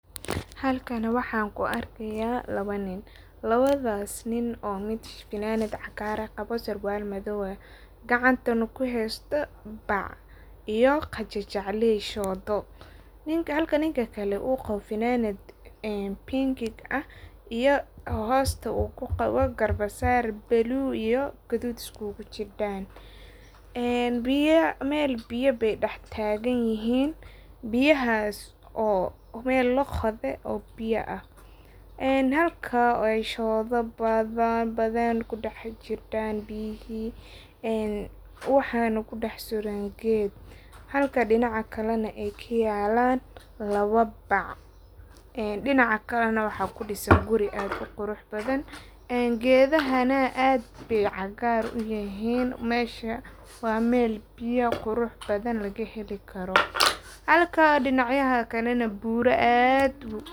Halkan waxan ku arkiyaa lawa nin, lawadhaas nin oo mid funanad cagaran qawo, sarwaal madhoow ah gacantana ku haysto baac iyo qajajacley shoodo, halkan ninka kale uu qawo funanad een pinkig ah iyo hoosta uu ku qawo garbasar blue iyo gudhuudh is kugu jidaan een meel biya baay dax taagan yihin, biyaahas oo meel laqodhee oo biya ah een halka ooy shoodha badhaan ku dax jidan biyihii een waxan ku dax suran geedh, halka dinaca kale na ku yaalan lawa baac een dinaca kale na waxaa ku disan gurii aad u qurux badhan, geedha na aad baay cagaar u yihin meesha wa meel biya qurux badhan laga heli karo, halka dinac yadha kale na buura aad.